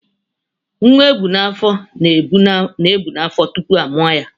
Nwa ebu n'afọ na-ebù n'afọ tupu a mụọ ya.